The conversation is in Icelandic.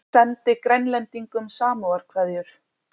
Sendi Grænlendingum samúðarkveðjur